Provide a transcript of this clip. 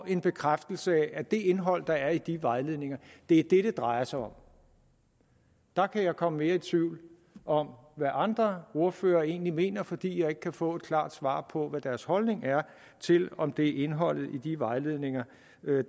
en bekræftelse af at det indhold der er i de vejledninger er det det drejer sig om der kan jeg komme mere i tvivl om hvad andre ordførere egentlig mener fordi jeg ikke kan få et klart svar på hvad deres holdning er til om det er indholdet i de vejledninger